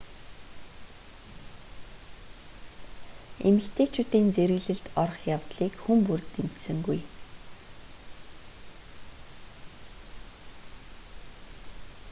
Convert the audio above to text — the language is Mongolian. эмэгтэйчүүдийн зэрэглэлд орох явдлыг хүн бүр дэмжсэнгүй